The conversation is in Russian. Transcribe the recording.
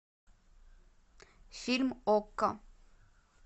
фильм окко